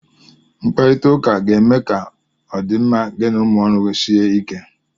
Mkparita ụka ga-eme ka ọdịmma gị na ụmụ ọrụ gị sie ike.